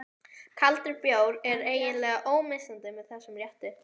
Kaldur bjór er eiginlega ómissandi með þessum rétti.